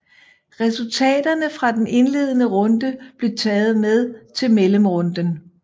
Resultaterne fra den indledende runde blev taget med til mellemrunden